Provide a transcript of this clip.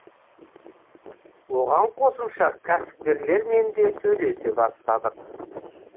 оған қосымша кәсіпкерлермен де сөйлесе бастадық